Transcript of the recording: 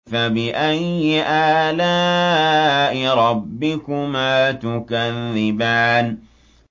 فَبِأَيِّ آلَاءِ رَبِّكُمَا تُكَذِّبَانِ